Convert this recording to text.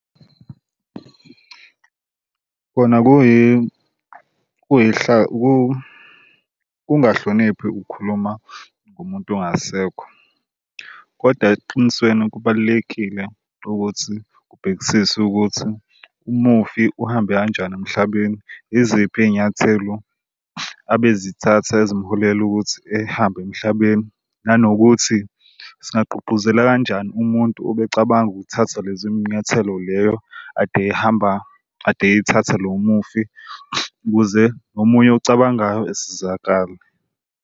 Kona kungahloniphi ukukhuluma ngomuntu ongasekho, kodwa eqinisweni kubalulekile ukuthi kubhekisise ukuthi umufi uhambe kanjani emhlabeni. Yiziphi iy'nyathelo abezithatha ezimholela ukuthi ehambe emhlabeni, nanokuthi singagqugquzela kanjani umuntu obecabanga ukuthatha lezi nyathelo leyo ade ehamba ade ey'thatha lo mufi ukuze nomunye ocabangayo esizakale.